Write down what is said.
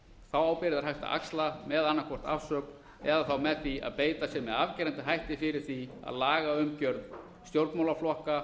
er hægt að axla með annað hvort afsögn eða með því að beita sér með afgerandi hætti fyrir því að lagaumgjörð stjórnmálaflokka